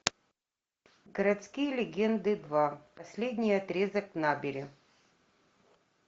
городские легенды два последний отрезок набери